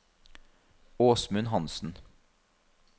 Åsmund Hanssen